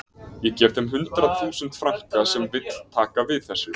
Ég gef þeim hundrað þúsund franka sem vill taka við þessu